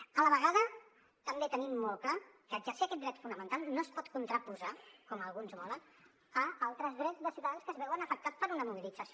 a la vegada també tenim molt clar que exercir aquest dret fonamental no es pot contraposar com alguns volen a altres drets de ciutadans que es veuen afectats per una mobilització